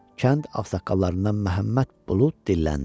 Kənd ağsaqqallarından Məhəmməd Bulud dilləndi.